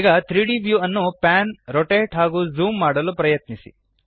ಈಗ 3ದ್ ವ್ಯೂ ನ್ನು ಪ್ಯಾನ್ ರೊಟೇಟ್ ಹಾಗೂ ಝೂಮ್ ಮಾಡಲು ಪ್ರಯತ್ನಿಸಿ